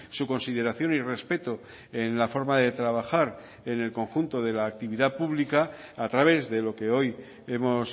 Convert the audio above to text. su consideración y respeto en la forma de trabajar en el conjunto de la actividad pública a través de lo que hoy hemos